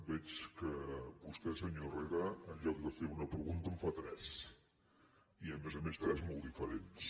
veig que vostè senyor herrera en lloc de fer una pregunta en fa tres i a més a més tres de molt diferents